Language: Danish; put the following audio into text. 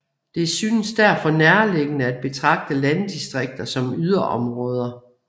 Det synes derfor nærliggende at betragte landdistrikter som yderområder